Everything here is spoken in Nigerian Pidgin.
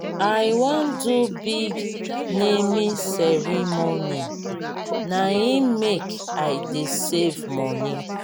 i wan do big naming ceremony na im make i dey save moni.